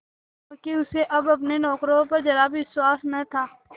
क्योंकि उसे अब अपने नौकरों पर जरा भी विश्वास न था